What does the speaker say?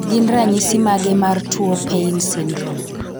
Gin ranyisi mage mar tuo Paine syndrome?